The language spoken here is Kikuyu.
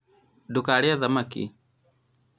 ndũkarĩe thamaki